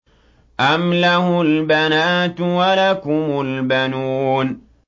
أَمْ لَهُ الْبَنَاتُ وَلَكُمُ الْبَنُونَ